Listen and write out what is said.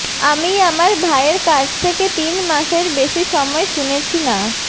আমি আমার ভাইয়ের কাছ থেকে তিন মাসের বেশি সময় শুনেছি না